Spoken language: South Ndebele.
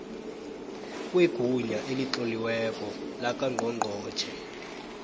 kwegunya elitloliweko lakangqongqotjhe